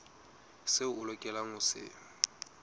seo o lokelang ho se